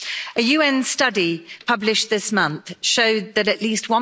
A UN study published this month showed that at least